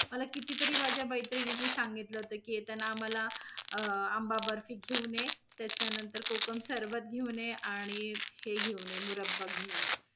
मला कितीतरी माझ्या मैत्रिणींनी सांगितल होत की, येताना आम्हाला अं आंबा बर्फी घेऊन ये. त्याच्या नंतर कोकम सरबत घेऊन ये, आणि हे घेऊन ये, मुरब्बा घेऊन ये.